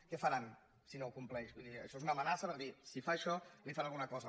què faran si no ho compleix vull dir això és una amenaça per dir si fa això li faré alguna cosa